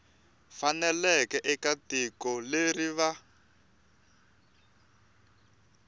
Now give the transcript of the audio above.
faneleke eka tiko leri va